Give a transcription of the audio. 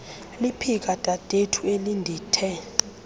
liphika dadethu elindithe